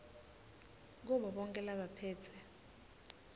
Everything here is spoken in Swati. kubo bonkhe labaphetse